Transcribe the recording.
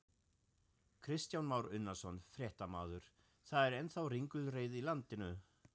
Kristján Már Unnarsson, fréttamaður: Það er ennþá ringulreið í landinu?